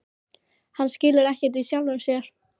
Hann skilur ekkert í sjálfum sér.